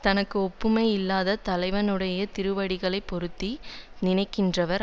தனக்கு ஒப்புமை இல்லாத தலைவனுடைய திருவடிகளை பொருத்தி நினைக்கின்றவர்